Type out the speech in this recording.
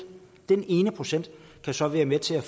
den ene procent kan så være med til at